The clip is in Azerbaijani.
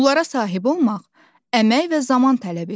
Bunlara sahib olmaq əmək və zaman tələb edir.